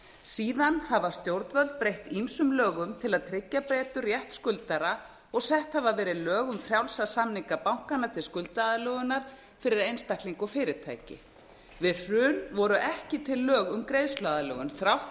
síðan hafa stjórnvöld breytt ýmsum lögum til að tryggja betur rétt skuldara og sett hafa verið lög um frjálsa samninga bankanna til skuldaaðlögunar fyrir einstaklinga og fyrirtæki við hrun voru ekki til lög um greiðsluaðlögun þrátt